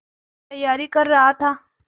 तैयारी कर रहा था